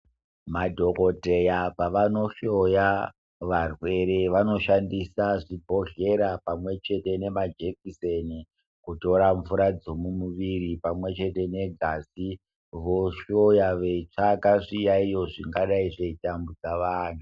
Madhokodheya pavano hloya varwere vanoshandisa zvibhodhlera pamwechete nema jekiseni kutora mvura dzomumuviri pamwechete negazi vohloya veitsvaka zviyaiyo zvakadai zveitambudza vanhu